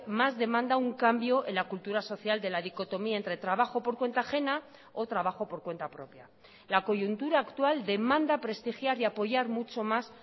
más demanda un cambio en la cultura social de la dicotomía entre trabajo por cuenta ajena o trabajo por cuenta propia la coyuntura actual demanda prestigiar y apoyar mucho más